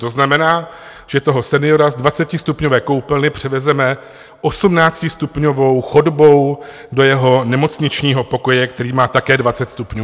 To znamená, že toho seniora z 20stupňové koupelny převezeme 18stupňovou chodbou do jeho nemocničního pokoje, který má také 20 stupňů.